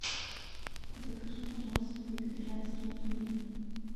закажи пожалуйста вегетарианские пельмени